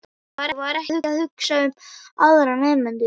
Nei, ég var ekki að hugsa um aðra nemendur.